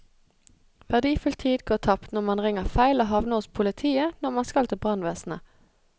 Verdifull tid går tapt når man ringer feil og havner hos politiet når man skal til brannvesenet.